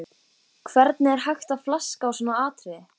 Hvernig er hægt að flaska á svona atriði?